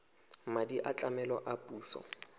madi a tlamelo a puso